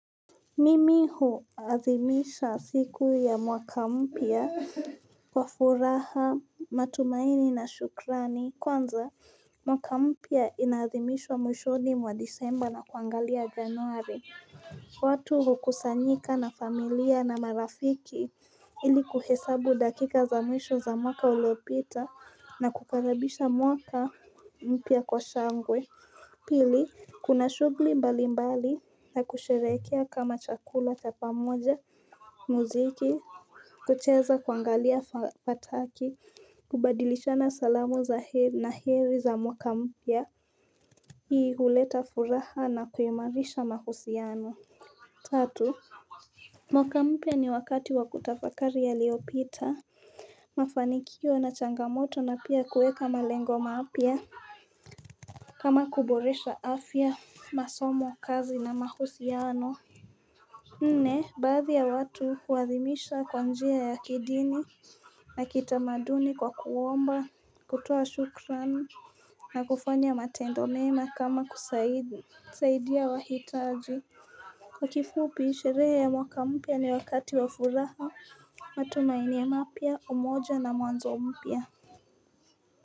Mimi huathimisha siku ya mwaka mpya kwa furaha matumaini na shukrani. Kwanza mwaka mpya inaathimishwa mwishoni mwa disemba na kuangalia januari. Watu hukusanyika na familia na marafiki ili kuhesabu dakika za mwisho za mwaka uliopita na kukaribisha mwaka mpya kwa shangwe. Pili, kuna shughuli mbali mbali na kusherekea kama chakula cha pamoja, muziki, kucheza, kuangalia fataki, kubadilishana salamu za heri na heri za mwaka mpya. Hii huleta furaha na kuimarisha mahusiano. Tatu. Mwaka mpya ni wakati wa kutafakari yaliyopita. Mafanikio na changamoto na pia kuweka malengo mapya. Kama kuboresha afya, masomo, kazi na mahusiano. Nne, baadhi ya watu huadhimisha kwa njia ya kidini. Na kitamaduni kwa kuomba, kutoa shukran na kufanya matendo mema kama kusaidia wahitaji. Kwa kifupi, sherehe ya mwaka mpya ni wakati wa furaha. Matumaini mapya, umoja na mwanzo mpya.